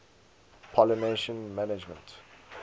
pollination management